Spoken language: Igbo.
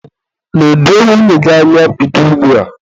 nedo nwunye gị anya bido ugbua!